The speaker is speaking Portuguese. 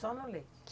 Só no leite?